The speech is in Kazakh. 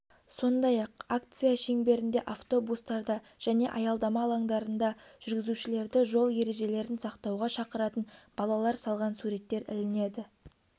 сондай-ақ акция шеңберінде автобустарда және аялдама алаңдарында жүргізушілерді жол ережелерін сақтауға шақыратын балалар салған суреттер ілінеді